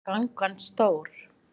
Er gangan stór?